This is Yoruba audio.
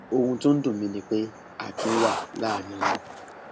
ohun tó ń dùn mí ni pé akin wà láàrin wọn